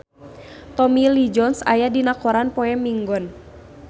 Tommy Lee Jones aya dina koran poe Minggon